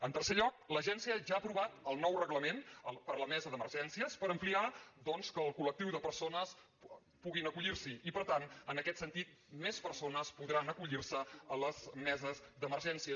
en tercer lloc l’agència ja ha aprovat el nou reglament per la mesa d’emergències per ampliar doncs el col·lectiu de persones que puguin acollir s’hi i per tant en aquest sentit més persones podran acollir se a les meses d’emergències